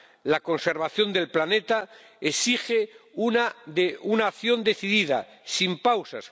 La conservación del planeta exige una acción decidida, sin pausas.